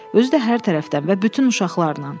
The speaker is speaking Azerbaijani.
Özü də hər tərəfdən və bütün uşaqlarla.